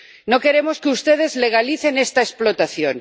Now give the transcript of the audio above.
No queremos que ustedes legalicen esta explotación.